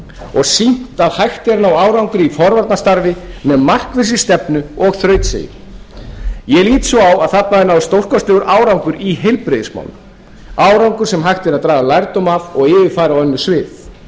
og sýnt að hægt er að ná árangri í forvarnastarfi með markvissri stefnu og þrautseigju ég lít svo á að þarna hafi náðst stórkostlegur árangur í heilbrigðismálum árangur sem hægt er að draga lærdóm af og yfirfæra á önnur svið